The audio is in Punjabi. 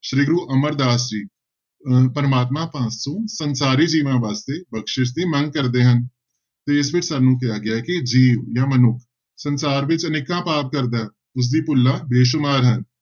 ਸ੍ਰੀ ਗੁਰੂ ਅਮਰਦਾਸ ਜੀ ਅਹ ਪ੍ਰਮਾਤਮਾ ਪਾਸੋਂ ਸੰਸਾਰੀ ਜੀਵਨ ਵਾਸਤੇ ਬਖਸ਼ਿਸ਼ ਦੀ ਮੰਗ ਕਰਦੇ ਹਨ ਤੇ ਇਸ ਵਿੱਚ ਸਾਨੂੰ ਕਿਹਾ ਗਿਆ ਹੈ ਕਿ ਜੀਵ ਜਾਂ ਮਨੁੱਖ ਸੰਸਾਰ ਵਿੱਚ ਅਨੇਕਾਂ ਪਾਪ ਕਰਦਾ ਹੈ, ਉਸਦੀ ਭੁੱਲਾਂ ਬੇਸੁਮਾਰ ਹਨ,